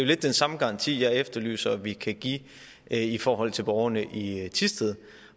lidt den samme garanti jeg efterlyser vi kan give i forhold til borgerne i thisted